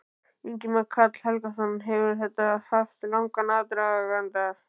Ingimar Karl Helgason: Hefur þetta haft langan aðdraganda?